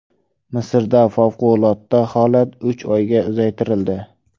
Misrda favqulodda holat uch oyga uzaytirildi.